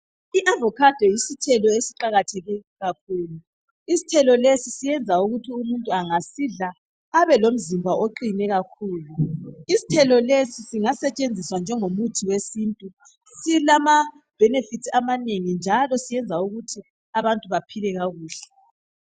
I avocado yisithelo esiqakatheke kakhulu isithelo lesi siyenza ukuthi umuntu engasidla abelomzimba oqine kakhulu isithelo lesi singasetshenziswa njengo muthi wesintu silama benefits amanengi njalo siyenza ukuthi abantu baphile kakuhle.